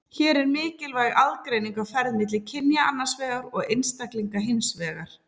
Hér er mikilvæg aðgreining á ferð milli kynja annars vegar og einstaklinga hins vegar.